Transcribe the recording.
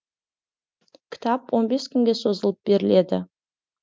кітап он бес күнге созылып беріледі